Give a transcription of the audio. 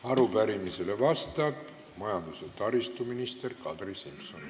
Arupärimisele vastab majandus- ja taristuminister Kadri Simson.